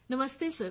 ਨਮਸਤੇ sir